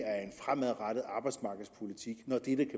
fremadrettet arbejdsmarkedspolitik når det